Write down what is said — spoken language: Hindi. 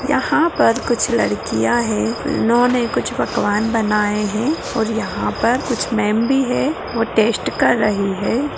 यहाँ पर कुछ लड़किया हैं इन्होंने कुछ पकवान बनाए हैं और यहाँ पर कुछ मैम भी है वह टेस्ट कर रही है |